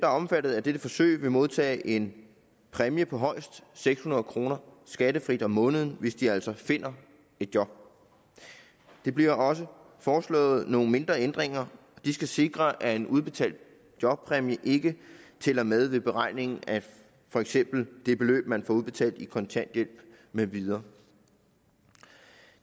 omfattet af dette forsøg vil modtage en præmie på højst seks hundrede kroner skattefrit om måneden hvis de altså finder et job der bliver også foreslået nogle mindre ændringer og de skal sikre at en udbetalt jobpræmie ikke tæller med i beregningen af for eksempel det beløb man får udbetalt i kontanthjælp med videre